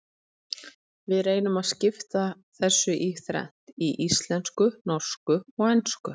Við reynum að skipta þessu í þrennt, í íslensku, norsku og ensku.